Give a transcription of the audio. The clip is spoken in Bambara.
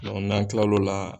n'an kila o la